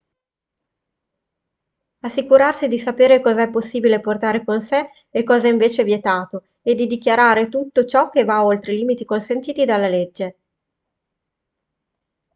assicurarsi di sapere cosa è possibile portare con sé e cosa invece è vietato e di dichiarare tutto ciò che va oltre i limiti consentiti dalla legge